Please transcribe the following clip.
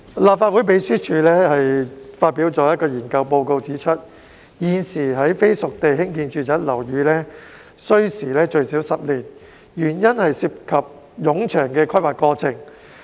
立法會秘書處發表的研究報告指出，現時在非熟地興建住宅樓宇需時最少10年，原因是涉及冗長的規劃過程。